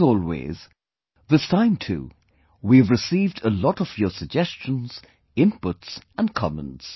As always, this time too we have received a lot of your suggestions, inputs and comments